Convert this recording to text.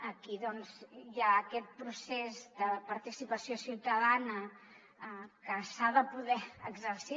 aquí doncs hi ha aquest procés de participació ciutadana que s’ha de poder exercir